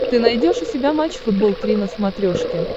ты найдешь у себя матч футбол три на смотрешке